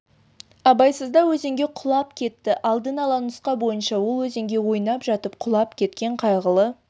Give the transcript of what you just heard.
абайсызда өзенге құлап кетті алдын ала нұсқа бойынша ол өзенге ойнап жатып құлап кеткен қайғылы